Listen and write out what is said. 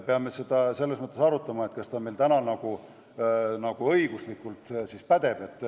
Peame seda selles mõttes arutama, et kas see on meil täna õiguslikult võimalik.